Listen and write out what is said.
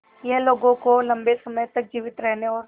यह लोगों को लंबे समय तक जीवित रहने और